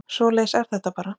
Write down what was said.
Svoleiðis er þetta bara